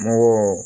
Mɔgɔw